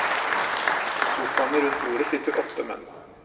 I sofaene rundt bordet sitter åtte menn.